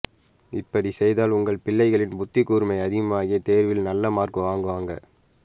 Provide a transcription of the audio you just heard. இப்படி செய்தால் உங்க பிள்ளைகளின் புத்திக்கூர்மை அதிகமாகி தேர்வில் நல்ல மார்க் வாங்குவாங்க